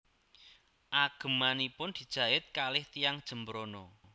Agemanipun dijait kalih tiyang Jembrana